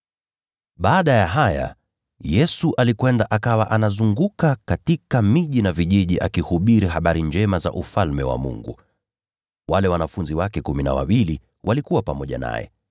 Baada ya haya Yesu alikwenda, akawa anazunguka katika miji na vijiji akihubiri habari njema za Ufalme wa Mungu. Wale wanafunzi wake kumi na wawili walikuwa pamoja naye,